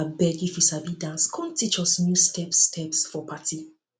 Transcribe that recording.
abeg if you sabi dance come teach us new steps steps for party